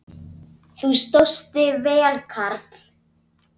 Þú stóðst þig vel, karl.